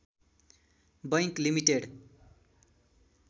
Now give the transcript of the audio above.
bank limited